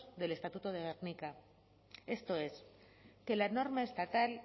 del estatuto de gernika esto es que la norma estatal